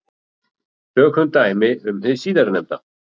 Tökum dæmi um hið síðarnefnda.